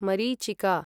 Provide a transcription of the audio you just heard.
मरीचिका